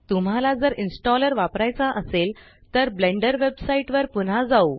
तुम्हाला जर इनस्टॉलर वापरायचा असेल तर ब्लेंडर वेबसाइट वर पुन्हा जाऊ